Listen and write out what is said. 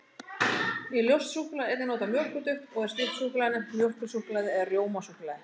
Í ljóst súkkulaði er einnig notað mjólkurduft, og er slíkt súkkulaði nefnt mjólkursúkkulaði eða rjómasúkkulaði.